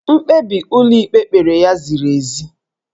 Mkpebi ụlọikpe kpere ya ziri ezi.